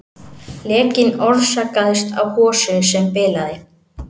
Lekinn orsakaðist af hosu sem bilaði